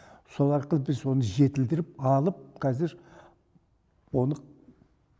сол арқылы біз оны жетілдіріп алып қазір оны